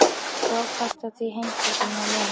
Stóð fast á því, heimsborgarinn Lena.